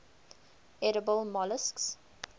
edible molluscs